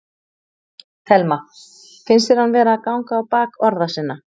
Telma: Finnst þér hann vera að ganga á bak orða sinna?